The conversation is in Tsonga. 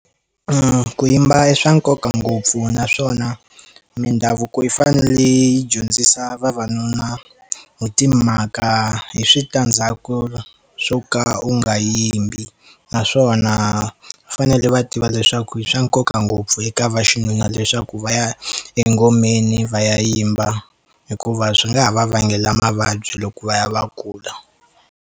Ku yimba i swa nkoka ngopfu naswona mindhavuko yi fanele yi dyondzisa vavanuna hi timhaka hi switandzhaku swo ka u nga yimbi naswona va fanele va tiva leswaku i swa nkoka ngopfu eka vaxinuna leswaku va ya engomeni va ya yimba hikuva swi nga ha va vangela mavabyi loko va ya va kula.